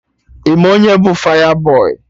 Ị ma onye bụ fayabọy?